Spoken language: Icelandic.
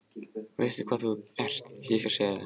Veistu hvað þú ert, ég skal segja þér það.